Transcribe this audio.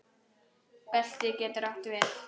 Belti getur átt við